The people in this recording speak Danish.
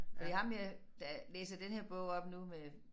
Fordi ham her der læser denne her bog op nu med